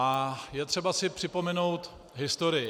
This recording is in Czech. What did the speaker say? A je třeba si připomenout historii.